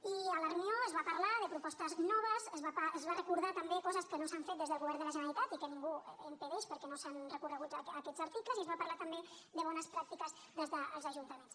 i a la reunió es va parlar de propostes noves es van recordar també coses que no s’han fet des del govern de la generalitat i que ningú impedeix perquè no s’han recorregut aquests articles i es va parlar també de bones pràctiques des dels ajuntaments